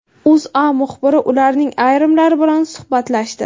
O‘zA muxbiri ularning ayrimlari bilan suhbatlashdi .